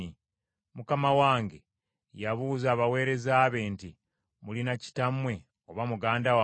Mukama wange yabuuza abaweereza be nti, ‘Mulina kitammwe oba muganda wammwe?’